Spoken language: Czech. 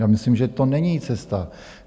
Já myslím, že to není cesta.